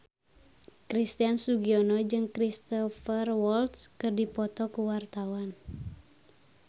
Christian Sugiono jeung Cristhoper Waltz keur dipoto ku wartawan